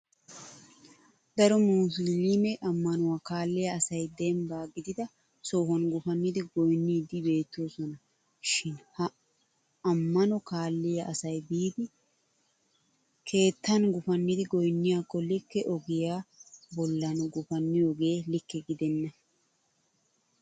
Daro musiliime ammanuwa kaalliya asay dembba gidida sohuwan gufannidi goynniiddi beettoosona. Shin ha ammuna kaalliya asay biidi keettan gufannidi goynniyakko likke ogiya bollan gufanniyoogee likke gidenna.